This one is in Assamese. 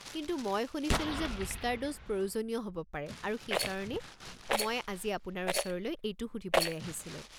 কিন্তু মই শুনিছিলোঁ যে বুষ্টাৰ ড'জ প্ৰয়োজনীয় হ'ব পাৰে, আৰু সেইকাৰণেই মই আজি আপোনাৰ ওচৰলৈ এইটো সুধিবলৈ আহিছিলোঁ।